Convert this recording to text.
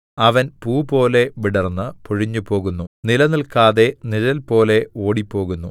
അവൻ പൂപോലെ വിടർന്ന് പൊഴിഞ്ഞുപോകുന്നു നിലനില്‍ക്കാതെ നിഴൽപോലെ ഓടിപ്പോകുന്നു